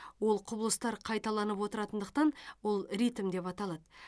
ол құбылыстар қайталанып отыратындықтан ол ритм деп аталады